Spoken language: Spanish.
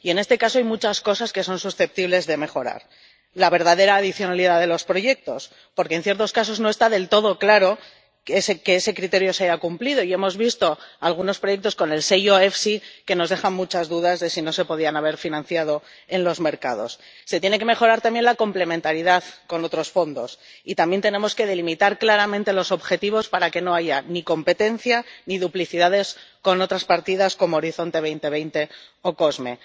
Y, en este caso, hay muchas cosas que son susceptibles de mejorarse. Por ejemplo, la verdadera adicionalidad de los proyectos, porque, en ciertos casos, no está del todo claro que ese criterio se haya cumplido y hemos visto algunos proyectos con el sello FEIE que nos dejan muchas dudas de si no se podían haber financiado en los mercados. Se tiene que mejorar también la complementariedad con otros fondos y también tenemos que delimitar claramente los objetivos para que no haya ni competencia ni duplicidades con otras partidas como Horizonte 2020 o COSME.